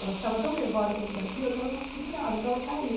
Ela estava tão nervosa com tudo aquilo que ela não se segurava, então ela caía.